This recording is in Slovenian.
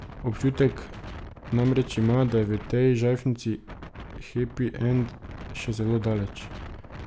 Občutek namreč ima, da je v tej žajfnici hepi end še zelo daleč ...